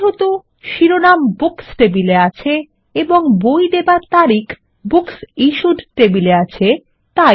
যেহেতু শিরোনাম বুকস টেবিলে আছে এবং বই দেবার তারিখ বুকসিশ্যুড টেবিলের আছে তাই